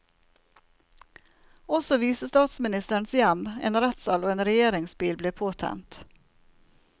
Også visestatsministerens hjem, en rettssal og en regjeringsbil ble påtent.